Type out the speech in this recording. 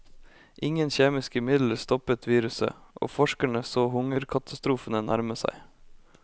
Ingen kjemiske midler stoppet viruset, og forskerne så hungerkatastrofene nærme seg.